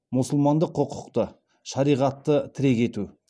мұсылмандық құқықты шариғатты тірек ету